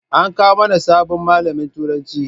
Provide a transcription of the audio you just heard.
An kawo mana sabon malamin turanci